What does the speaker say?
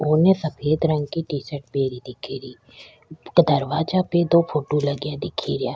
उनने सफ़ेद रंग की टी-शर्ट पहरी दिखेरी दरवाजा पे दो फोटो लगया दिखेरिया।